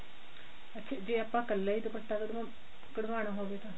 ਅੱਛਾ ਜੇ ਆਪਾਂ ਇਕੱਲਾ ਹੀ ਦੁੱਪਟਾ ਕਢਵਾਨਾ ਕਢਵਾਨਾ ਹੋਵੇ ਤਾਂ